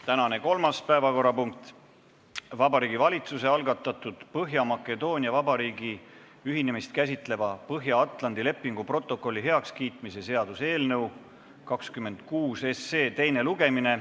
Tänane kolmas päevakorrapunkt: Vabariigi Valitsuse algatatud Põhja-Makedoonia Vabariigi ühinemist käsitleva Põhja-Atlandi lepingu protokolli heakskiitmise seaduse eelnõu 26 teine lugemine.